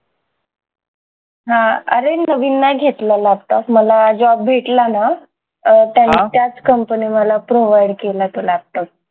हा! आरे नवीन नाय घेतला laptop मला job भेटला ना अं त्यानं त्याच company मला provide केला तो laptop